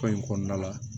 Ko in kɔnɔna la